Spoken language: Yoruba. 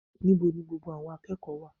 Níbo ni gbogbo àwọn akẹ́kọ̀ọ́ wà